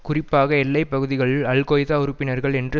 குறிப்பாக எல்லைப்பகுதிகளில் அல்கொய்தா உறுப்பினர்கள் என்று